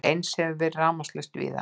Eins hefur verið rafmagnslaust víða